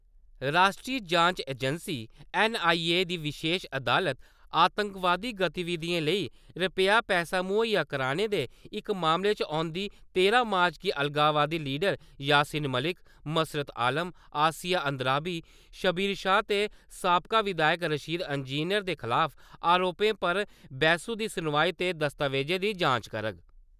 राश्ट्री जांच एजेंसी- ऐन्नआईए दी विशेश अदालत, आतंकवादी गतिविधियें लेई रपेआ-पैहा मुहैया करोआने दे इक मामले च औंदी तेरां मार्च गी अलगाववादी लीडर यासीन मलिक, मसर्रत आलम, आसिया अंद्राबी, शब्बीर शाह ते साबका विधायक रशीद इंजीनियर दे खलाफ आरोपें पर बैह्सू दी सुनवाई ते दस्तावेज़ें दी जांच करग।